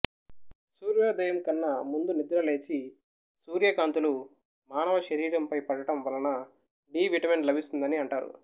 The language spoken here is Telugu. సూర్యోదయంకన్నా ముందు నిద్ర లేచి సూర్యకాంతులు మానవ శరీరం పై పడటం వలన డి విటమిన్ లభిస్తుందని అంటారు